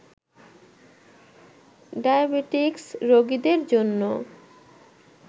diabetics রোগীদের জন্য